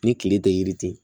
Ni kile tɛ yiri tɛ